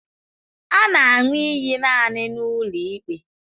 A na aṅụ iyi naanị n'ụlọ ikpe.